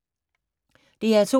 DR P2